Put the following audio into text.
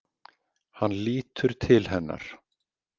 Hann lítur til hennar.